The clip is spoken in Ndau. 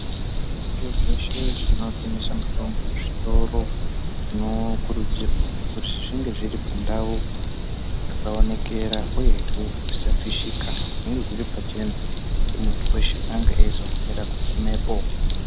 Zvitoro zveshe zvino tengesa mutombo zvitoro zvino kurudzirwa kuzi zvinge zviri pandau dzaka onekera uyehe zvisa fishika zvinge zviri pachena kuti muntu weshe ange eizo hanira ku gumepo.